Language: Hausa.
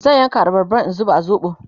zan yanka abarban in zuba a zoɓo